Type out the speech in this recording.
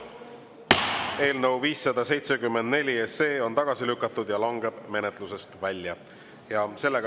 Eelnõu 574 on tagasi lükatud ja langeb menetlusest välja.